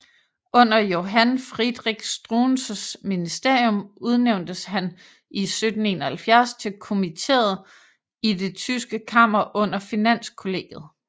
Under Johann Friedrich Struensees ministerium udnævntes han i 1771 til kommiteret i det tyske kammer under Finanskollegiet